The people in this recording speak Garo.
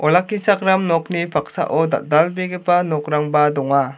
olakkichakram nokni paksao dal·dalbegipa nokrangba donga.